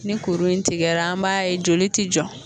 Ni kuru in tigɛla an b'a ye joli tɛ jɔ.